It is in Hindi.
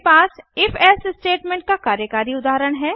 मेरे पास if एल्से स्टेटमेंट का कार्यकारी उदाहरण है